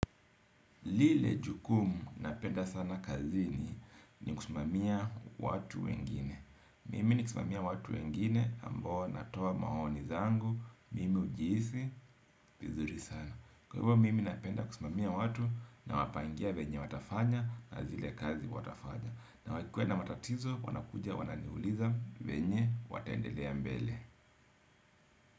Lile jukumu napenda sana kazini ni kusmamia watu wengine. Mimi nikismamia watu wengine ambao natoamaoni zangu. Mimi ujihisi, vizuri sana. Kwa hivyo, mimi napenda kusimamia watu nawapangia venye watafanya na zile kazi watafanya. Na wakikua na matatizo wanakuja wananiuliza venye watendelea mbele.